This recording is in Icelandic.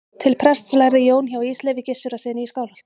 til prests lærði jón hjá ísleifi gissurarsyni í skálholti